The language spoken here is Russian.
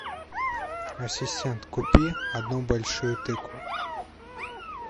ассистент купи одну большую тыкву